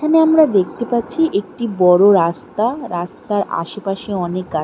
এখানে আমরা দেখতে পাচ্ছি একটি বড় রাস্তা রাস্তার আশেপাশে অনেক গা--